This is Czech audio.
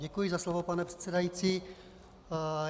Děkuji za slovo, pane předsedající.